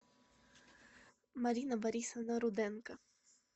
марина борисовна руденко